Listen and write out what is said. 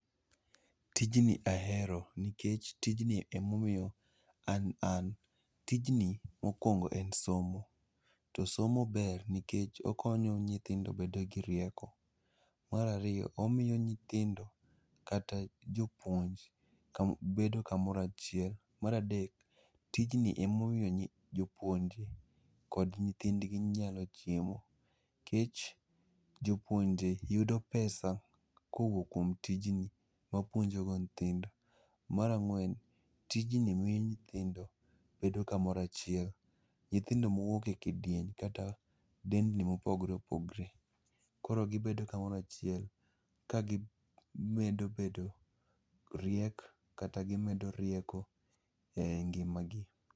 Tijni ahero nikech tijni emomiyo an an, tijni mokwongo en somo. To somo ber nikech okonyo nyithindo bedo gi rieko. Mar ariyo, omiyo nyithindo kata jopuonj bedo kamorachiel. Mar adek, tijni emomiyo nyi, jopuonj kod nyithindgi nyalo chiemo. Kech, jopuonje yudo omenda kowuok kuom tijni mapuonjogo nythindo. Ma rang'wen, tijni mi nyithindo bedo kamorachiel. Nyithindo mowuok e kidieny kata delni mopogre opogre. Koro gibedo kamoro achiel, ka gimedo bedo mariek kata gimedo rieko e ngimagi.